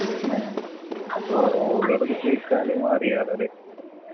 ന്നെ ഒളോടൊക്കെ ചോയിച്ചാല് അറിയാലോ ല്ലേ